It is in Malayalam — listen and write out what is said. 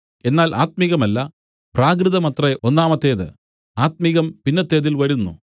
എന്നാൽ ആത്മികമല്ല പ്രാകൃതമത്രേ ഒന്നാമത്തേത് ആത്മികം പിന്നത്തേതിൽ വരുന്നു